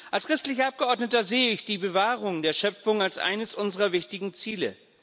Als christlicher Abgeordneter sehe ich die Bewahrung der Schöpfung als eines unserer wichtigen Ziele.